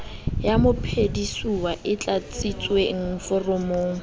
ya mophedisuwa e tlatsitsweng foromong